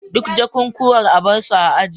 Duk jakukuwan a bar su a aji